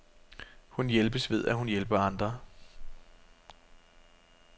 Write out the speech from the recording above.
Hun hjælpes ved, at hun hjælper andre.